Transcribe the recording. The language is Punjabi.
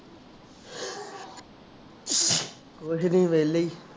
ਕੁਛ ਨੀ ਵਿਹਲੇ ਹੀ